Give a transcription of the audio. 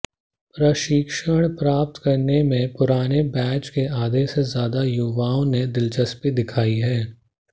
प्रशिक्षण प्राप्त करने में पुराने बैच के आधे से ज्यादा युवाओं ने दिलचस्पी दिखाई है